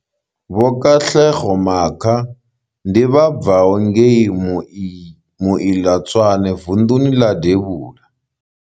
Vho Katlego Makha ndi vha bvaho ngei Moiletswane vunḓuni ḽa devhula.